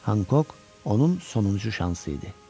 Honqoq onun sonuncu şansı idi.